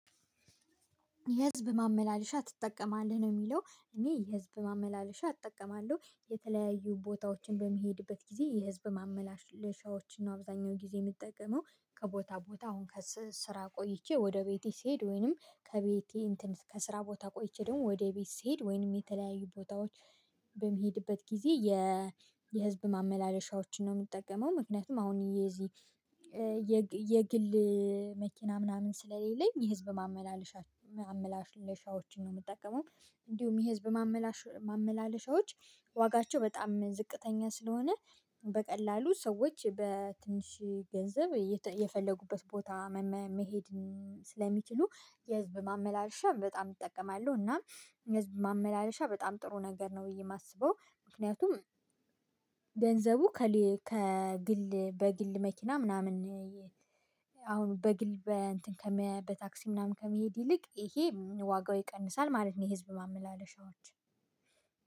የህዝብ ማመላለሻ ትጠቀማለህ ነው የሚለው እኔ የህዝብ ማመላለሻ እጠቀማለሁ የተለያዩ ቦታዎችን በመሄድበት ጊዜ የህዝብ ማመላለሻዎችን አብዛኛው ጊዜ የምትጠቀመው ከቦታ ቦታ አሁን ከስራ ቆይቼ ወደ ቤቴ ስሄድ ወይንም ከቤቴ እንትን ከስራ ቦታ ቆይቼ ደግሞ ወደ ቤት ስሄድ ወይንም የተለያዩ ቦታዎች በሚሄድበት ጊዜ የ የህዝብ ማመላለሻዎችን ነው የምጠቀመው። ምክንያቱም አሁን የዚህ የግል መኪና ምናምን ስለሌለኝ የህዝብ ማመላለሻ ማመላለሻዎችን ነው የምጠቀመው። እንዲሁም የህዝብ ማመላለሻዎች ማመላለሻዎች ዋጋቸው በጣም ዝቅተኛ ስለሆነ በቀላሉ ሰዎች በትንሽ ገንዘብ የፈለጉበት ቦታ መሄድ ስለሚችሉ የህዝብ ማመላለሻ በጣም እጠቀማለሁ። እና የህዝብ ማመላለሻ በጣም ጥሩ ነገር ነው ብዬ የማስበው። ምክንያቱም ገንዘቡ ከግል በግል መኪና ምናምን አሁን በግል በታክሲ ምናምን ከመሄድ ይልቅ ይሄ ዋጋው ይቀንሳል ማለት ነው። ህዝብ ማመላለሻዎች